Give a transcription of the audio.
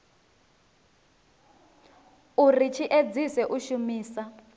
uri tshi edzise u shumisa